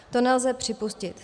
To nelze připustit.